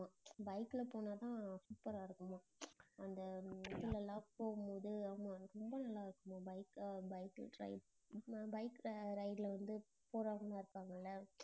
bike ல போனாதான் super ஆ இருக்குமாம் அந்த இதுல எல்லாம் போகும்போது ஆமா ரொம்ப நல்லா இருக்குமாம் bike அஹ் bike ri~ bike ல அஹ் ride ல வந்து போறவங்க இருப்பாங்கல்ல